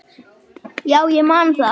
Já, ég man það.